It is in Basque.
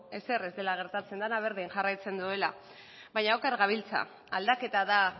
ezer ez dela gertatzen dena berdin jarraitzen duela baina oker gabiltza aldaketa da